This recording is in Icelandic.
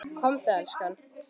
Komdu elskan!